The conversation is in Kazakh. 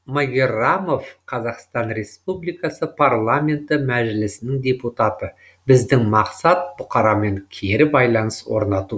магеррамов қазақстан республикасы парламенті мәжілісінің депутаты біздің мақсат бұқарамен кері байланыс орнату